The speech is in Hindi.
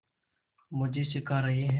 मज़े से खा रहे हैं